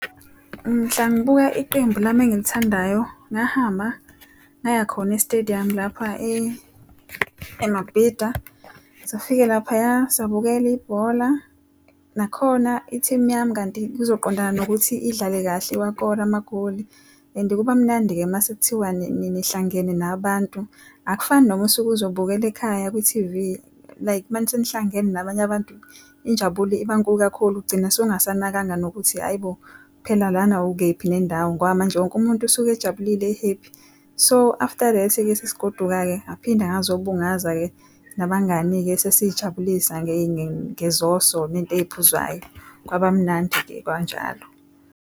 Mhla ngibuka iqembu lami engilithandayo, ngahamba ngaya khona esitediyamu lapha eMabhida. Safike laphaya sabukela ibhola, nakhona i-team yami kanti kuzoqondana nokuthi idlale kahle wakora amagoli. And kuba mnandi-ke uma sekuthiwa nihlangene nabantu. Akufani noma usuke ukuzobukela ekhaya kwi-T_V like uma senihlangene nabanye abantu, injabulo ibankulu kakhulu ugcina usungasanakanga nokuthi hhayi bo, phela lana ukephi nendawo ngoba manje wonke umuntu usuke ejabulile e-happy. So after that-ike, sesigoduka-ke ngaphinde ngazo bungaza-ke nabangani-ke sesiy'jabulisa ngezoso nentey'phuzwayo kwaba mnandi-ke kwanjalo.